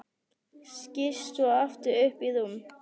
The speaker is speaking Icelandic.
Skýst svo aftur upp í rúm.